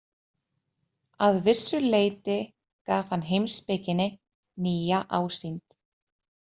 Að vissu leyti gaf hann heimspekinni nýja ásýnd.